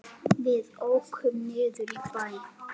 Við ókum niður í bæ.